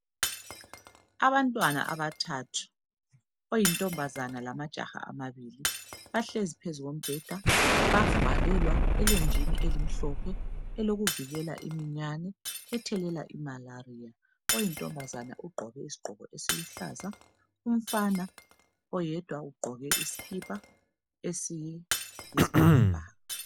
Abantwana abathathu oyintombazane lamajaha amabili bahlezi phezu kombheda bavalelwa elenjini elimhlophe elokuvikela iminyane ethelela I malaria oyintombazane ugqoke isigqoko esiluhlaza umfana oyedwa ugqoke isikipa esiyisibhakabhaka.